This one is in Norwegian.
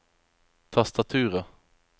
tastaturet